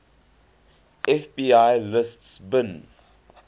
fbi lists bin